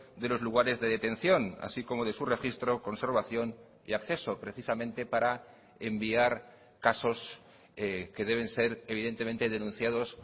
de los lugares de detención así como de su registro conservación y acceso precisamente para enviar casos que deben ser evidentemente denunciados